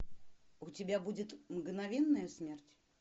у тебя будет мгновенная смерть